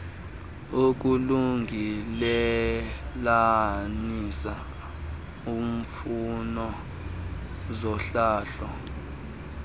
ukulungelelanisa imfuno zohlahlo